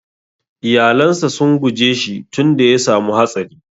Iƴalan sa sun guje shi tun da ya samu hatsari.